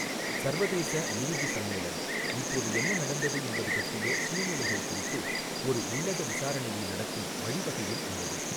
சர்வதேச லூஜ் சம்மேளனம் இப்போது என்ன நடந்தது என்பது பற்றிய சூழ்நிலைகள் குறித்து ஒரு உள்ளக விசாரணையை நடத்தும் வழிவகையில் உள்ளது.